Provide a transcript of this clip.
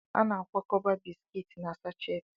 A na-akwakọba bisikiiti na sasheti.